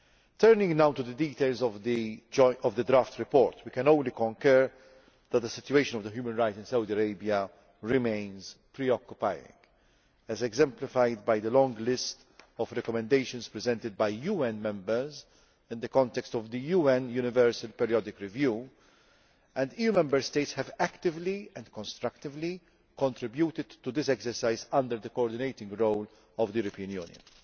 Turning now to the details of the draft report, we can only concur that the human rights situation in Saudi Arabia remains preoccupying, as exemplified by the long list of recommendations presented by UN members in the context of the UN Universal Periodic Review The EU Member States have actively and constructively contributed to this exercise under the coordinating role of the European Union.